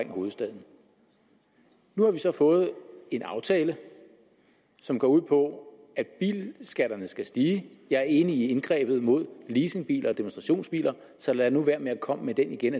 hovedstaden nu har vi så fået en aftale som går ud på at bilskatterne skal stige jeg er enig i indgrebet mod leasingbiler og demonstrationsbiler så lad nu være med at komme med den igen